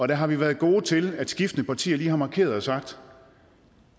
der har vi været gode til at skiftende partier lige har markeret og sagt